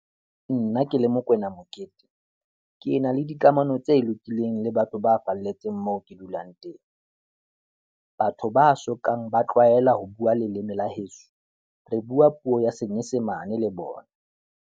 Nna ke le Mokoena Mokete, ke na le dikamano tse lokileng le batho ba falletseng moo ke dulang teng. Batho ba sokang ba tlwaela ho bua leleme la heso, re bua puo ya Senyesemane le bona.